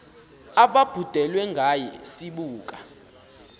ababhudelwe ngawe sibuka